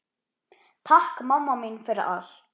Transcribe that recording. Takk mamma mín fyrir allt.